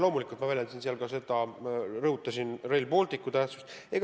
Loomulikult ma rõhutasin seal ka Rail Balticu tähtsust.